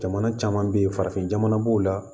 Jamana caman bɛ yen farafin jamana b'o la